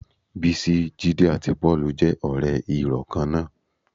Bísí, Jídé àti Pọ́ọ̀lù jẹ́ ọ̀rẹ́ ìrọ̀ kan náà